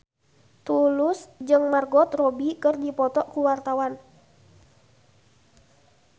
Tulus jeung Margot Robbie keur dipoto ku wartawan